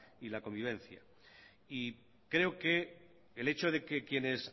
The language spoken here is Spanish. y la convivencia y creo que el hecho de que quienes